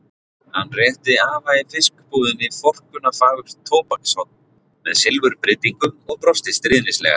Hann rétti afa í fiskbúðinni forkunnarfagurt tóbakshorn með silfurbryddingum og brosti stríðnislega.